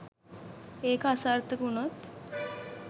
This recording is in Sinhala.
ඒක අසාර්ථක වුණොත්